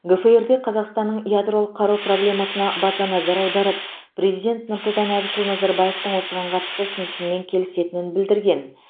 гфр де қазақстанның ядролық қару проблемасына баса назар аударып президент нұрсұлтан әбішұлы назарбаевтың осыған қатысты ұстанымымен келісетінін білдірген